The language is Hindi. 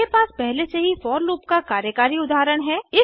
मेरे पास पहले से ही फोर लूप का कार्यकारी उदाहरण है